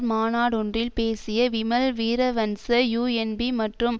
மாநாடொன்றில் பேசிய விமல் வீரவன்ச யூஎன்பீ மற்றும்